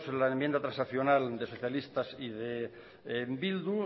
la enmienda transaccional de los socialistas y de bildu